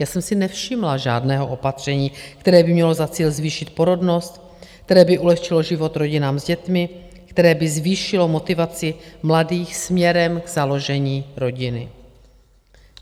Já jsem si nevšimla žádného opatření, které by mělo za cíl zvýšit porodnost, které by ulehčilo život rodinám s dětmi, které by zvýšilo motivaci mladých směrem k založení rodiny.